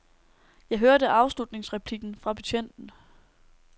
Jeg hørte afslutningsreplikken fra betjenten.